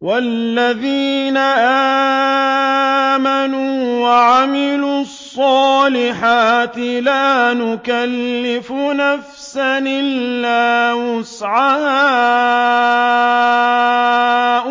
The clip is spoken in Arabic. وَالَّذِينَ آمَنُوا وَعَمِلُوا الصَّالِحَاتِ لَا نُكَلِّفُ نَفْسًا إِلَّا وُسْعَهَا